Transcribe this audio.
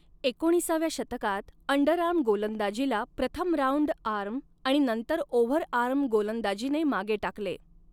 एकोणीसाव्या शतकात अंडरआर्म गोलंदाजीला प्रथम राऊंड आर्म आणि नंतर ओव्हरआर्म गोलंदाजीने मागे टाकले.